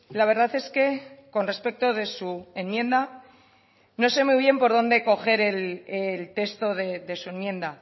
la verdad es que con respecto de su enmienda no sé muy bien por dónde coger el texto de su enmienda